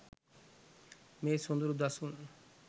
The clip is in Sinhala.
මේ සොඳුරු දසුන්